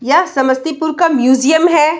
यह समस्तीपुर का म्यूजियम है।